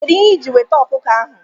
Kedu ihe iji weta ọkụkọ a?